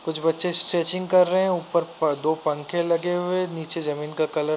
कुछ बच्चे स्ट्रेचिंग कर रहे हैं ऊपर प दो पंखे लगे हुए नीचे जमीन का कलर --